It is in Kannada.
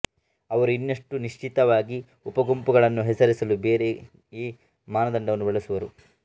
ಅವರು ಇನ್ನಷ್ಟು ನಿಶ್ಚಿತವಾಗಿ ಉಪಗುಂಪುಗಳನ್ನು ಹೆಸರಿಸಲು ಬೇರೆಯೇ ಮಾನದಂಡವನ್ನು ಬಳಸುವರು